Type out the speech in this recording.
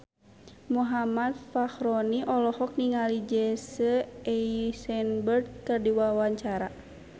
Muhammad Fachroni olohok ningali Jesse Eisenberg keur diwawancara